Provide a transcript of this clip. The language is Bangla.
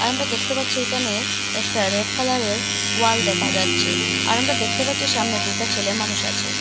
আমারা দেখতে পারছি একানে একটা রেড কালার -এর ওয়াল দেখা যাচ্চে আর আমরা দেখতে পাচ্ছি সামনে দুটো ছেলে মানুষ আচে।